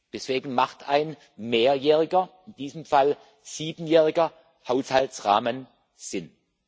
Deswegen ergibt ein mehrjähriger in diesem Fall siebenjähriger Haushaltsrahmen Sinn.